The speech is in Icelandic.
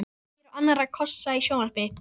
Kíkir á annarra kossa í sjónvarpi.